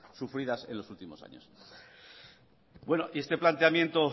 sufridas en los últimos años bueno y este planteamiento